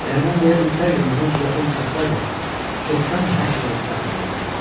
Əgər mən deyə bilsəydim, buna cürətim çatsaydı, çoxdan hər şeyə etiraf eləyərdim.